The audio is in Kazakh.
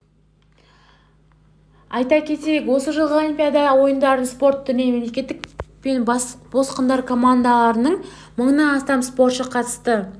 айта кетейік осы жылғы олимпиада ойындарына спорт түрінен мемлекет пен босқындар командаларынан мыңнан астам спортшы қатысты